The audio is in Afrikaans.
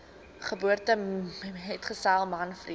geboortemetgesel man vriend